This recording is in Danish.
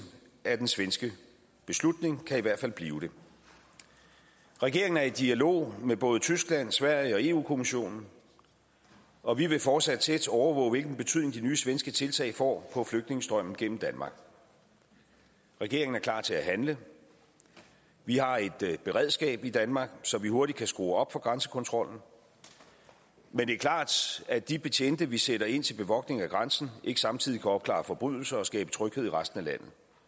af den svenske beslutning kan i hvert fald blive det regeringen er i dialog med både tyskland sverige og europa kommissionen og vi vil fortsat tæt overvåge hvilken betydning de nye svenske tiltag får på flygtningestrømmen gennem danmark regeringen er klar til at handle vi har et beredskab i danmark så vi hurtigt kan skrue op for grænsekontrollen men det er klart at de betjente vi sætter ind til bevogtning af grænsen ikke samtidig kan opklare forbrydelser og skabe tryghed i resten af